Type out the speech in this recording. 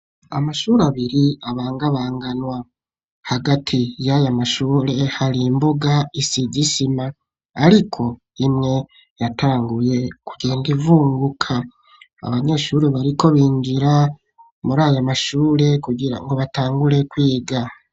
Amashure abiri, abangabanganwa; hagati y'aya mashure, hari imbuga, isize isima, ariko imwe, yatanguye kugenda, ivunguka; abanyeshure, bariko binjira, muri aya mashure, kugira ngo, batangure kwiga.